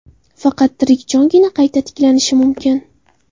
Faqat tirik jongina qayta tiklanishi mumkin.